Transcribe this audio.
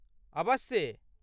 अबस्से।